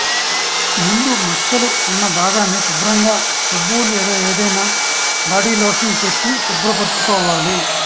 ముందు మచ్చలు ఉన్న భాగాన్ని శుభ్రంగా సబ్బు లేదా ఏదైనా బాడీలోషన్ పెట్టి శుభ్రపరచుకోవాలి